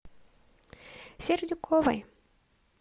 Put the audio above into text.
сердюковой